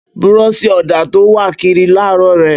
Búrọsì ọda tọ ń wà kírì làrọ rẹ.